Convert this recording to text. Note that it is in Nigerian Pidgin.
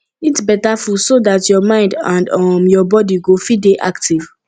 eat better food so dat your mind and um your body go fit dey active